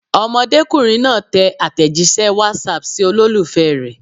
Ọmọdékùnrin náà tẹ àtẹ̀jíṣẹ́ WhatsApp sí olólùfẹ́ rẹ̀.